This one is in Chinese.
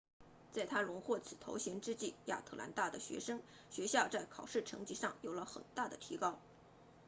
在她荣获此头衔之际亚特兰大的学校在考试成绩上有了很大的提高